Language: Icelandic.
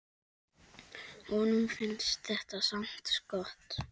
Honum finnst þetta samt gott.